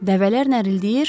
Dəvələr nərildəyir.